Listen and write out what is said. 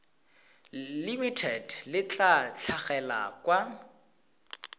limited le tla tlhagelela kwa